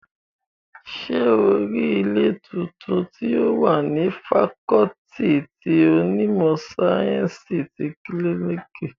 Ṣé o rí ilé tuntun tí ó wà ní fakọọti ti onímọ̀ sáyẹ́ǹsì ti kílíìkì?